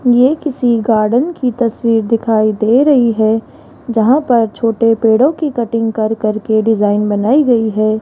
ये किसी गार्डन की तस्वीर दिखाई दे रही है जहां पर छोटे पेड़ों की कटिंग कर कर के डिजाइन बनाई गई है।